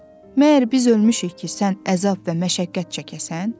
Məyər biz ölmüşük ki, sən əzab və məşəqqət çəkəsən?